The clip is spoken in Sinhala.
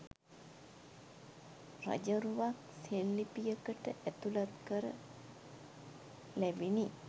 රජරුවක් සෙල්ලිපියකට ඇතුළත් කර ලැබිණි.